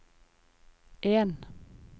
en